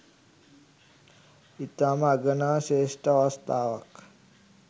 ඉතාම අගනා ශ්‍රේෂ්ඨ අවස්ථාවක්.